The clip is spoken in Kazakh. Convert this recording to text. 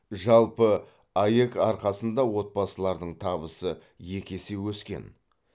жалпы аәк арқасында отбасылардың табысы екі есе өскен